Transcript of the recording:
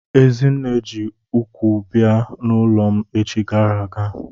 Ezinne ji ụkwụ bịa n'ụlọ m echi gara aga.